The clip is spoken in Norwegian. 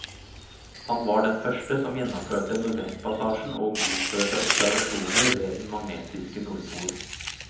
Han var den første som gjennomførte nordvestpassasjen og utførte observasjoner ved den magnetiske nordpol.